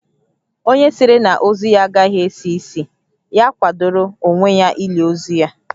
Onye sịrị na ozu ya agaghị esi ísì, ya kwadoro onwe ya ili ozu ya